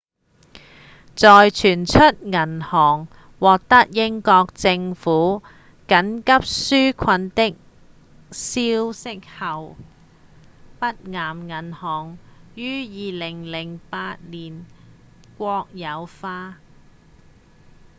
在傳出銀行獲得英國政府緊急紓困的消息後北岩銀行於2008年國有化